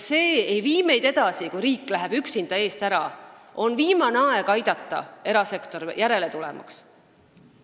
See ei vii meid edasi, kui riik läheb üksinda eest ära, on viimane aeg aidata erasektorit, et ta järele tuleks.